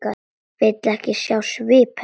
Vill ekki sjá svip hennar.